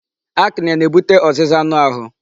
Acne na-ebute ọzịza anụ ahụ